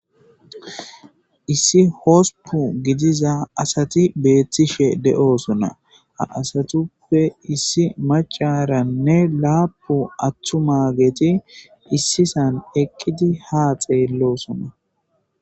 Issi hosupu gidiza asati beettishe de'osona asatuppe issi macaranne laapu attu ma geeti issisan eqqidi ha xeellosona.